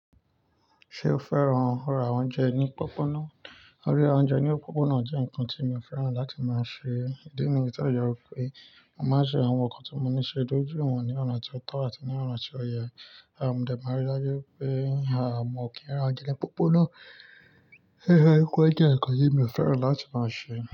Ṣé o fẹ́ràn ra oúnjẹ ní pópóná? Ríra oúnjẹ ní pópóná jẹ́ nǹkan tí mo fẹ́ràn láti máa ṣe. Ídí ni pé ó jẹ́ wípé máa ń ṣe àwọn nǹkan tí mo ní ṣe dojú ìwọ̀n ní ọ̀nà tí ó tọ́ àti ní ọ̀nà tí ó yẹ. À mọ̀ dẹ máa rí i lájú pé, àmọ́ kí n ra jẹ́ náà pópóná. Rí rẹ wípé jẹ́ nǹkan yìí mi o fẹ́ràn láti máa ṣe.